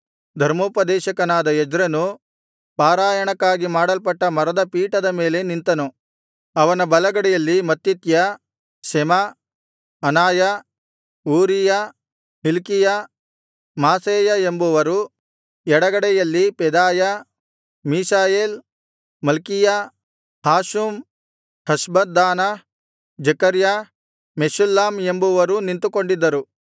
ಧರ್ಮೋಪದೇಶಕನಾದ ಎಜ್ರನು ಪಾರಾಯಣಕ್ಕಾಗಿ ಮಾಡಲ್ಪಟ್ಟ ಮರದ ಪೀಠದ ಮೇಲೆ ನಿಂತನು ಅವನ ಬಲಗಡೆಯಲ್ಲಿ ಮತ್ತಿತ್ಯ ಶೆಮ ಅನಾಯ ಊರೀಯ ಹಿಲ್ಕೀಯ ಮಾಸೇಯ ಎಂಬುವರೂ ಎಡಗಡೆಯಲ್ಲಿ ಪೆದಾಯ ಮಿಷಾಯೇಲ್ ಮಲ್ಕೀಯ ಹಾಷುಮ್ ಹಷ್ಬದ್ದಾನ ಜೆಕರ್ಯ ಮೆಷುಲ್ಲಾಮ್ ಎಂಬುವರೂ ನಿಂತುಕೊಂಡಿದ್ದರು